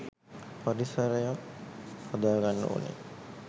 පරිසරයක් හදාගන්න ඕනෙ.